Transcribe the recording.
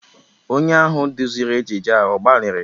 Onye ahụ duziri ejije a ọ gbalịrị?